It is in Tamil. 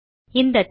இந்த தேமே